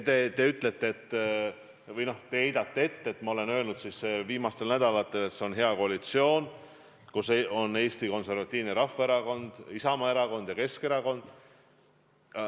Te heidate mulle ette, et ma olen viimastel nädalatel öelnud, et see on hea koalitsioon, kus on Eesti Konservatiivne Rahvaerakond, Isamaa ja Keskerakond.